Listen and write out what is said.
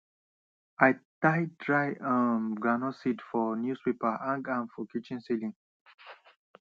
i tie dry um groundnut seeds for newspaper hang am for kitchen celling